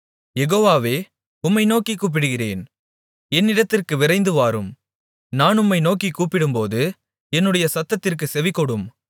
யெகோவாவே உம்மை நோக்கிக் கூப்பிடுகிறேன் என்னிடத்திற்கு விரைந்துவாரும் நான் உம்மை நோக்கிக் கூப்பிடும்போது என்னுடைய சத்தத்திற்குச் செவிகொடும்